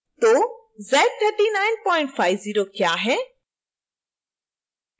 तो z3950 क्या है